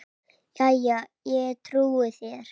Jæja, ég trúi þér.